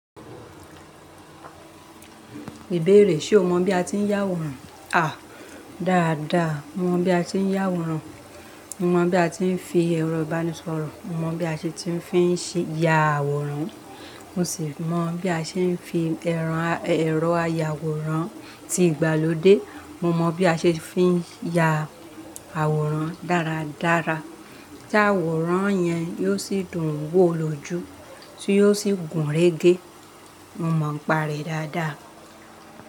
Ìbéèrè, ṣe o mọ̀ bí a ti ń yá àwòrán? À, dáadáa. Mo mọ̀ bí a ti ń yá àwòrán, mo mọ̀ bí a ti ń fi ẹ̀rọ ìbánisọ̀rọ̀, mo mọ̀ bí a ṣe ti ń fi ṣe ya àwòrán, mo sì mọ̀ bí a ṣe fi ẹ̀rọ ayàwòrán ti ìgbàlódé, mo mọ̀ bí a ṣe fi ya àwòrán dáradára. Tí àwòrán yẹn yóò sì dùn ún wò lójú, tí yóò sì gùn régé. Mo mọ̀ n pa rẹ̀ dáadáa.